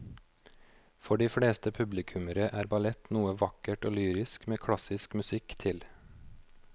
For de fleste publikummere er ballett noe vakkert og lyrisk med klassisk musikk til.